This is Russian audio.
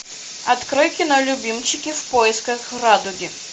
открой кино любимчики в поисках радуги